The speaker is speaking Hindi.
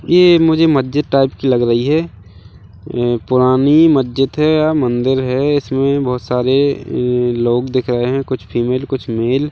ये एक मुझे मस्जिद टाइप की लग रही हैं ये पुरानी मस्जिद हैं या मंदिर हैं इसमें बहुत सारे लोग दिख रहे हैं कुछ फीमेल कुछ मेल --